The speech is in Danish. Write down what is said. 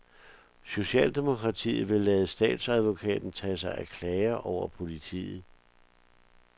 Socialdemokratiet vil lade statsadvokaten tage sig af klager over politiet.